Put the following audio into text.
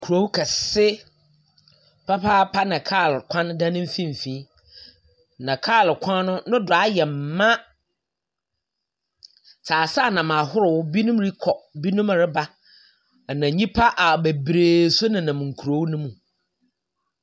Koruw kɛse papaapa na kaar kwan da ne mfinimfin. Na kaar kwan no, no do ayɛ ma. Tseaseanam ahorow bi rokɔ, binom reba. Na nyimpa a beberebe so nenam kurow no mu.